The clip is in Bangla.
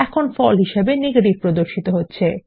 এখন ফল হিসাবে নেগেটিভ প্রদর্শিত হচ্ছে